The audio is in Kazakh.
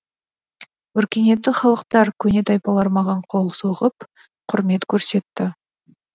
өркениетті халықтар көне тайпалар маған қол соғып құрмет көрсетті